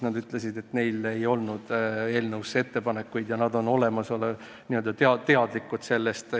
Nad ütlesid, et neil ei ole eelnõu kohta ettepanekuid, kuid nad on eelnõust teadlikud.